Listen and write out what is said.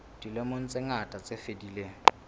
dilemong tse ngata tse fetileng